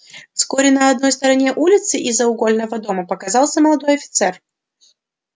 вскоре на одной стороне улицы из-за угольного дома показался молодой офицер